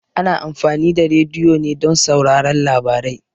Ana amfani da rediyo ne don sauraron labarai.